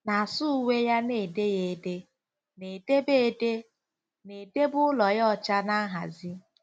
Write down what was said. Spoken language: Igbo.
na-asa uwe ya na-ede ya ede? na-edebe ede? na-edebe ụlọ ya ọcha na nhazi?